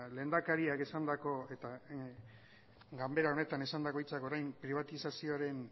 lehendakariak esandako eta ganbera honetan esandako hitzak orain pribatizazioaren